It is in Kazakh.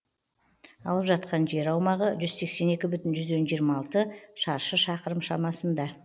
алып жатқан жер аумағы жүз сексен екі бүтін жүзден жиырма алты шаршы шақырым шамасында